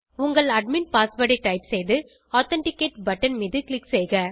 உங்கள் admin password ஐ type செய்து ஆதென்டிகேட் பட்டன் மீது க்ளிக் செய்க